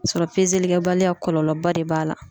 Sɔrɔ kɛbaliya kɔlɔlɔba de b'a la.